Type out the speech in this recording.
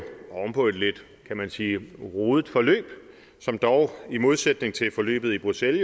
oven på et lidt kan man sige rodet forløb som dog i modsætning til forløbet i bruxelles